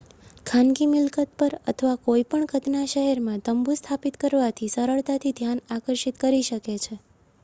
ખાનગી મિલકત પર અથવા કોઈ પણ કદના શહેરમાં તંબુ સ્થાપિત કરવાથી સરળતાથી ધ્યાન આકર્ષિત કરી શકે છે